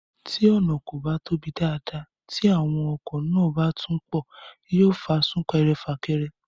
Tí ọ̀nà kò bá tóbi dáadáa tí àwọn ọkọ̀ náà bá tún pọ̀, yóò fa súnkẹrẹ fàkẹrẹ